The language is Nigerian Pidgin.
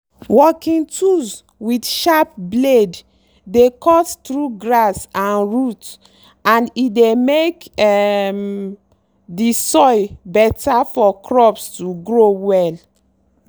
working tools with sharp blade dey cut through grass and root and e dey make um the soil better for crops to grow well.